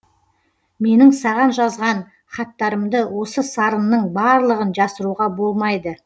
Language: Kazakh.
менің саған жазған хаттарымды осы сарынның барлығын жасыруға болмайды